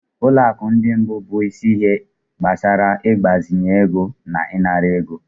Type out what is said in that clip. Ụlọ akụ ndị mbụ bụ isi ihe gbasara ịgbazinye ego na ịnara ego.